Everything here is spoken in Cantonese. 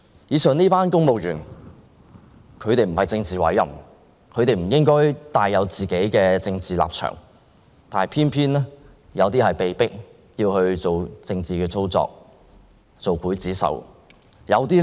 以上這些公務員都不是政治委任的官員，他們不應有自己的政治立場，但他們有些人卻偏偏被迫作出政治操作，做劊子手。